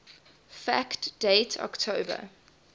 fact date october